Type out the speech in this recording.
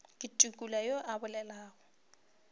ke tukula yo a bolelago